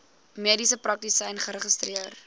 mediese praktisyn geregistreer